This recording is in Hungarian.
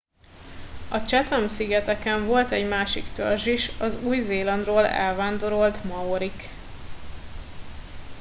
a chatham szigeteken volt egy másik törzs is az új zélandról elvándorolt maorik